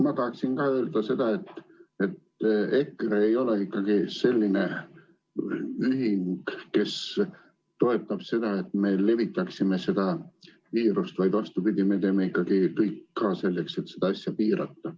Mina tahaksin ka öelda, et EKRE ei ole selline ühing, kes toetab seda, et me levitaksime viirust, vaid vastupidi, me teeme ikkagi ka kõik selleks, et seda asja piirata.